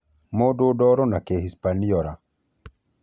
Mũndũ Ndoro- na Kĩhispaniora.